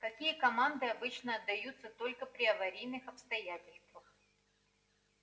какие команды обычно отдаются только при аварийных обстоятельствах